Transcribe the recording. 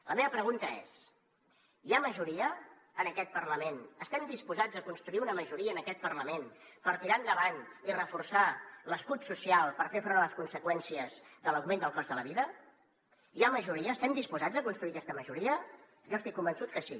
la meva pregunta és hi ha majoria en aquest parlament estem disposats a construir una majoria en aquest parlament per tirar endavant i reforçar l’escut social per fer front a les conseqüències de l’augment del cost de la vida hi ha majoria estem disposats a construir aquesta majoria jo estic convençut que sí